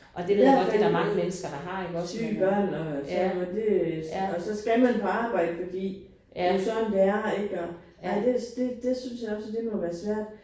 I hvert fald syge børn og sådan noget det og så skal man på arbejde fordi det jo sådan det er ik og. Nej det det det synes jeg også det må være svært